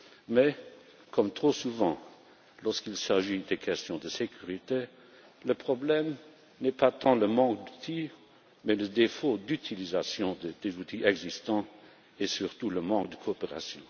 Mais comme trop souvent, lorsqu'il s'agit de questions de sécurité, le problème n'est pas tant le manque d'outils que le défaut d'utilisation des outils existants et surtout le manque de coopération.